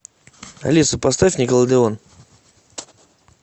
алиса поставь никелодеон